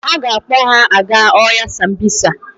Ha ga-akpọ ha aga ọhịa Sambisa.